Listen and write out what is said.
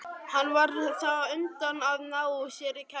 Hann varð þá á undan að ná sér í kærustu.